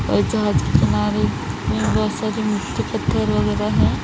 और जहाज के किनारे यहां वैसे भी मिट्टी पत्थर वगैरह है।